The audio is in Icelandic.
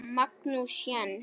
Magnús Jens.